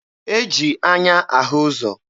E ji anya ahụ ụzọ.